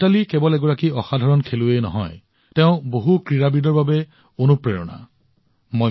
মিতালী কেৱল এগৰাকী ব্যতিক্ৰমী খেলুৱৈয়ে নহয় দৰাচলতে তেওঁ বহুতো খেলুৱৈৰ বাবে অনুপ্ৰেৰণা হৈও আহিছে